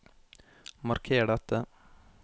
Marker dette